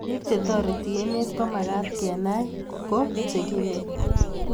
pik chetoret emet komakat kenai kuu chekimen